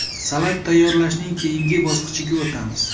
Salat tayyorlashning keyingi bosqichiga o‘tamiz.